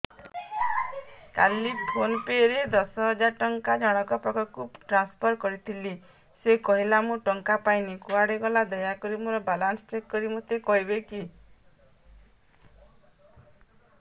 କାଲି PhonePe ରେ ଦଶ ହଜାର ଟଙ୍କା ଜଣକ ପାଖକୁ ଟ୍ରାନ୍ସଫର୍ କରିଥିଲି ସେ କହିଲା ମୁଁ ଟଙ୍କା ପାଇନି କୁଆଡେ ଗଲା ଦୟାକରି ମୋର ବାଲାନ୍ସ ଚେକ୍ କରି ମୋତେ କହିବେ କି